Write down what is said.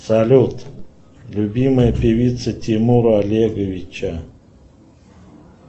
салют любимая певица тимура олеговича